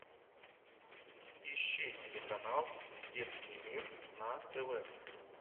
ищи телеканал детский мир на тв